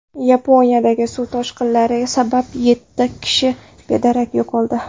Yaponiyadagi suv toshqinlari sabab yetti kishi bedarak yo‘qoldi.